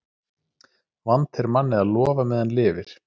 Vant er manni að lofa meðan lifir.